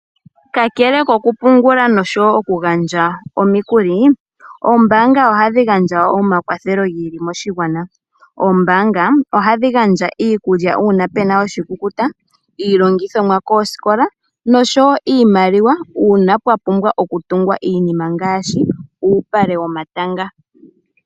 Ka kele koku pungula noku gandja omikuli, oombanga ohadhi gandja omakwathelo ngiili moshingwana. Oombanga ohadhi gandja iikulya uuna puna oshikukuta, iilongithomwa koosikola nosho woo iimaliwa uuna pwapumbwa okutugwa iinima ngaashi uupale womatanga.